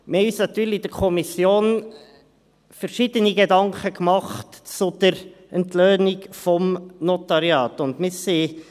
Wir haben uns in der Kommission natürlich verschiedene Gedanken zur Entlöhnung des Notariats gemacht.